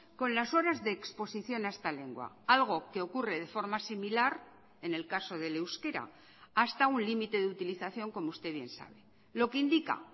con las horas de exposición a esta lengua algo que ocurre de forma similar en el caso del euskera hasta un límite de utilización como usted bien sabe lo que indica